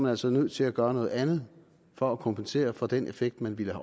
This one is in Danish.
altså nødt til at gøre noget andet for at kompensere for den effekt man ville